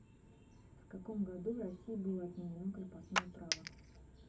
в каком году в россии было отменено крепостное право